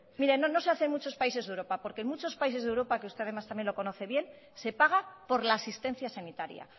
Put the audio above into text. mire miren no se hace un muchos países de europa porque en muchos países de europa que usted además también lo conoce bien se paga por la asistencia sanitaria